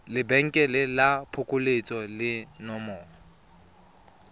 lebenkele la phokoletso le nomoro